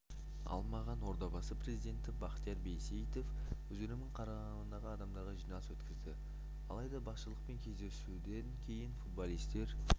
алмаған ордабасы президенті бахтияр байсеитов өзінің қарамағындағы адамдармен жиналыс өткізді алайда басшылықпен кездесуден кейінде футболистер